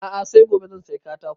A'a sai gobe zan saya katakon